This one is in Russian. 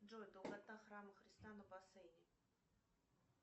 джой долгота храма христа на бассейне